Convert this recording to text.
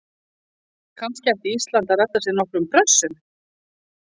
Kannski ætti Ísland að redda sér nokkrum Brössum?